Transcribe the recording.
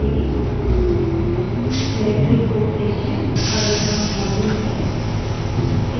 हमारी संकलित निर्देशिका directory भी path variable का एक भाग हो जाएगी